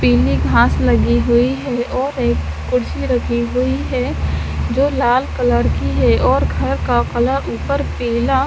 पिली घास लगी हुयी है और एक खुर्ची रखी हुयी है जो लाल कलर की है और घर का कलर ऊपर पीला --